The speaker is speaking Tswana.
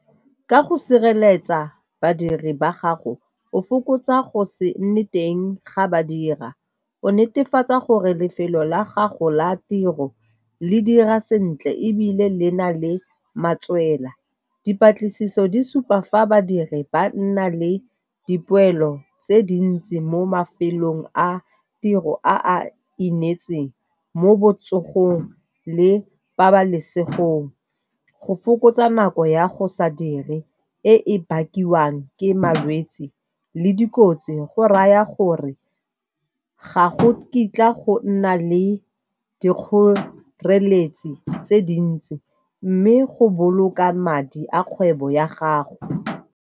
Ka go sireletsa badiri ba gago o fokotsa go se nne teng ga ba dira, o netefatsa gore lefelo la gago la tiro le dira sentle ebile le na le matswela. Dipatlisiso di supa fa badiri ba nna le dipoelo tse dintsi mo mafelong a tiro a a inetsweng mo botsogong le pabalesegong. Go fokotsa nako ya go sa dire e bakiwang ke malwetse le dikotsi go raya gore ga go kitla go nna le dikgoreletsi tse dintsi mme go boloka madi a kgwebo ya gago.